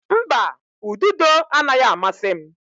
Mba, ududo anaghị amasị m.